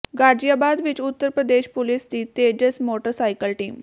ਗਾਜ਼ੀਆਬਾਦ ਵਿੱਚ ਉੱਤਰ ਪ੍ਰਦੇਸ਼ ਪੁਲਿਸ ਦੀ Tejas motorcycle team